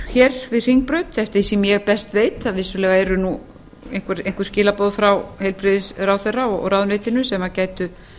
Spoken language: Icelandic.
hér við hringbraut eftir því sem ég best veit það eru vissulega einhver skilaboð frá heilbrigðisráðherra og ráðuneytinu sem gætu